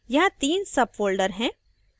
यहाँ तीन sub folders हैं